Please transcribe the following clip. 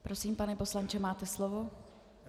Prosím, pane poslanče, máte slovo.